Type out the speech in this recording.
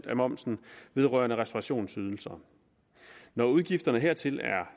af momsen vedrørende restaurationsydelser når udgifterne hertil er